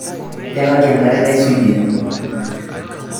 Yakaki enkare naisujie.